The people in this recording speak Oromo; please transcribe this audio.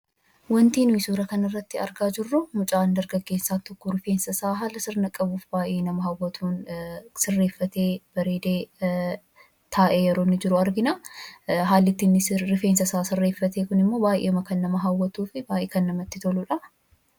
Waanti nuyi suura kana irraa argaa jirruu, mucaan dargaggeessaa tokko rifeensa isaa haala sirna qabuu fi baayyee nama hawwatuun sirreeffatee, bareedee taa'ee jiru argina. Haalli inni rifeensa isaa itti sirreeffate immoo baayyeedhuma kan nama hawwatuu fi baayyee kan namatti toludha.